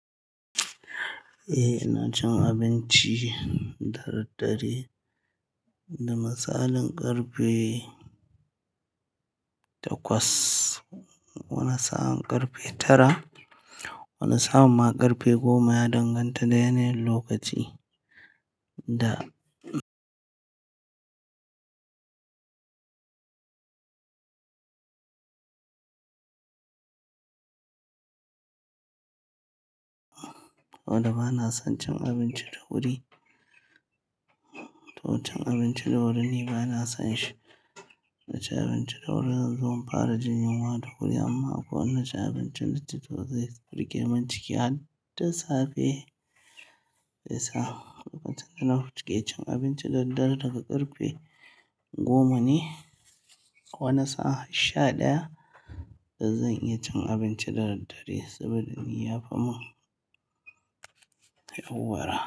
Eh, ina cin abinci da daddare, da misalin karfe takwas, wani sa'a karfe tara, wani sa'a ma karfe goma ya danganta da yanayin lokaci da dole bana son cin abinci da wuri, to cin abinci da wuri ni bana son shi. Na ci abinci da wuri zan zo fara jin yunwa da wuri amma ko na ci abinci da ciki zai rike mun ciki har da safe. Shiyasa lokacin da na fita ke cin abinci dare dare daga karfe goma ne, wani sa'a sha daya, da zan iya cin abinci da daddare saboda ni ya fa mun yauwara.